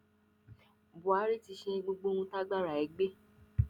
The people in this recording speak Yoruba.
buhari ti ṣe gbogbo ohun tágbára ẹ gbé